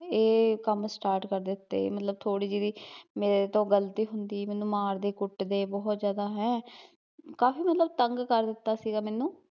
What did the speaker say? ਏਹ ਕੰਮ start ਕਰ ਦਿੱਤੇ ਮਤਲਬ ਥੋੜੀ ਜਹੀ ਵੀ, ਮੇਰੇ ਤੋਂ ਗਲਤੀ ਹੁੰਦੀ ਮੈਨੂੰ ਮਾਰਦੇ ਕੁੱਟਦੇ ਬਹੁਤ ਜਿਆਦਾ, ਹੈਂ ਕਾਫੀ ਮਤਲਬ ਤੰਗ ਕਰ ਦਿੱਤਾ ਸੀਗਾ ਮੈਨੂੰ